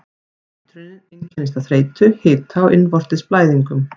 Eitrunin einkennist af þreytu, hita og innvortis blæðingum.